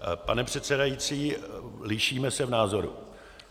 Pane předsedající, lišíme se v názoru.